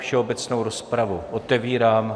Všeobecnou rozpravu otevírám.